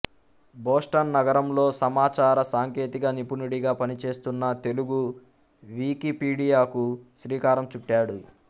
Boston నగరంలో సమాచార సాంకేతిక నిపుణుడిగా పనిచేస్తున్న తెలుగు వీకీపీడియాకు శ్రీకారం చుట్టాడు